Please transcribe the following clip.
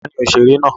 Ta ni òṣèré náà?